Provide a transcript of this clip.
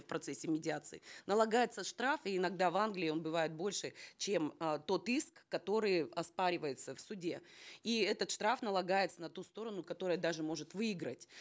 в процессе медиации налагается штраф и иногда в англии он бывает больше чем э тот иск который оспаривается в суде и этот штраф налагается на ту сторону которая даже может выиграть